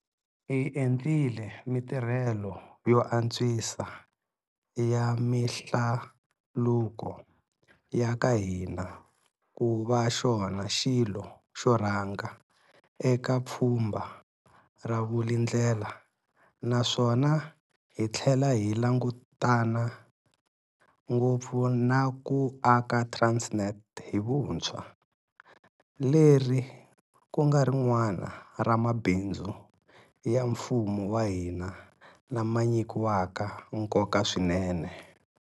Hi endlile mitirhelo yo antswisa ya mihlaluko ya ka hina ku va xona xilo xo rhanga eka Pfhumba ra Vulindlela naswona hi tlhela hi langutana ngopfu na ku aka Transnet hi vuntshwa, leri ku nga rin'wana ra mabindzu ya mfumo wa hina lama nyikiwaka nkoka swinene.